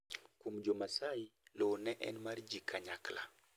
kuom jo maasai lowo ne en mar ji kanyakla